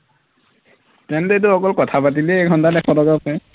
তেন্তে এইটো অকল কথা পাতিলেই এঘন্টাত এশ টকা পায়